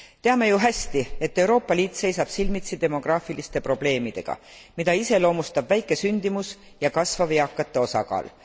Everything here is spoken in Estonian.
Teame ju hästi, et Euroopa Liit seisab silmitsi demograafiliste probleemidega, mida iseloomustab väike sündimus ja kasvav eakate osakaal.